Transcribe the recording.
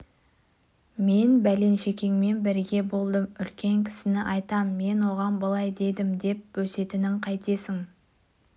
мен бәленшекеңмен бірге болдым үлкен кісіні айтам мен оған былай дедім деп бөсетінін қайтесің